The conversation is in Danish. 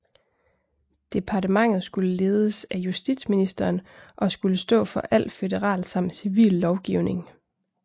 Departementet skulle ledes af justitsministeren og skulle stå for al føderal samt civil lovgivning